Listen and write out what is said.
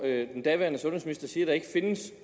den daværende sundhedsminister siger at der ikke findes